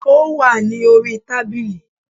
Ó wà ní orí i tábìlì